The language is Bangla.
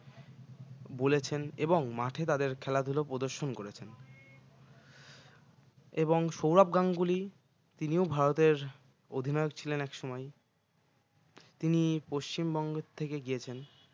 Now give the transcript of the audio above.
বলেছেন এবং মাঠে তাদের খেলাধুলো প্রদর্শন করেছেন এবং সৌরভ গাঙ্গুলি তিনিও ভারতের অধিনায়ক ছিলেন এক সময় তিনি পশ্চিম বঙ্গ থেকে গিয়েছেন